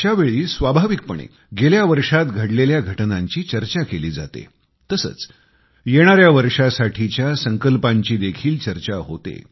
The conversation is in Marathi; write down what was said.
अशा वेळी स्वाभाविकपणे गेल्या वर्षात घडलेल्या घटनांची चर्चा केली जातेतसेच येणाऱ्या वर्षासाठीच्या संकल्पांची देखील चर्चा होते